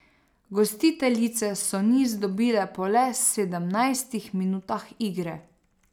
Gostiteljice so niz dobile po le sedemnajstih minutah igre.